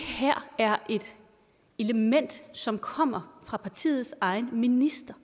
her er et element som kommer fra partiets egen minister